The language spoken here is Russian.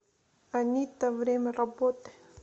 анита время работы